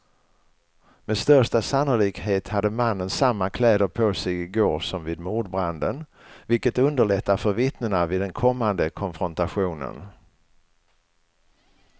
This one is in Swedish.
Med största sannolikhet hade mannen samma kläder på sig i går som vid mordbranden, vilket underlättar för vittnena vid den kommande konfrontationen.